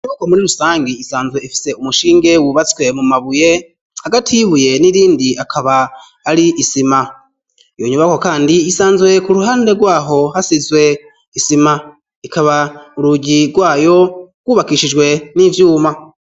Uko muri rusange isanzwe efise umushinge wubatswe mu mabuye agati yibuye n'irindi akaba ari isima iyo nyubako, kandi isanzwe ku ruhande rwaho hasizwe isima ikaba urugi rwayo rwubakishijwe n'ivyuma.